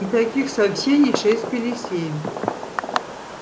и каких сообщений шесть пере семь